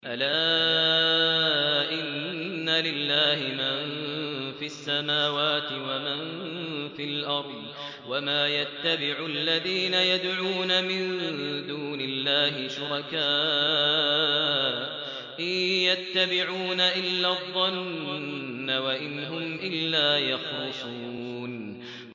أَلَا إِنَّ لِلَّهِ مَن فِي السَّمَاوَاتِ وَمَن فِي الْأَرْضِ ۗ وَمَا يَتَّبِعُ الَّذِينَ يَدْعُونَ مِن دُونِ اللَّهِ شُرَكَاءَ ۚ إِن يَتَّبِعُونَ إِلَّا الظَّنَّ وَإِنْ هُمْ إِلَّا يَخْرُصُونَ